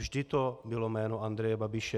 Vždy to bylo jméno Andreje Babiše.